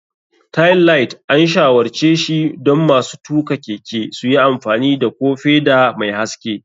Tailight, an shawarce shi don masu tuka keke su yi amfani da ko feda mai haske.